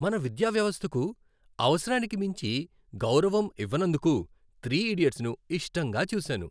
మన విద్యా వ్యవస్థకు అవసరానికి మించి గౌరవం ఇవ్వనందుకు "త్రి ఇడియట్స్"ను ఇష్టంగా చూసాను.